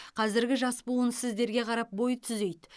қазіргі жас буын сіздерге қарап бой түзейді